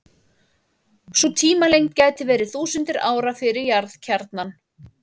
Sú tímalengd gæti verið þúsundir ára fyrir jarðkjarnann.